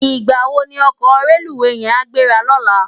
Nigbá wó ni òkò rélúwé yèn á gbérá lòlá?